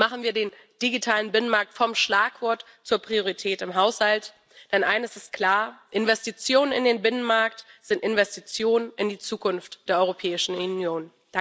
Machen wir den digitalen Binnenmarkt vom Schlagwort zur Priorität im Haushalt! Denn eines ist klar Investitionen in den Binnenmarkt sind Investitionen in die Zukunft der Europäischen Union.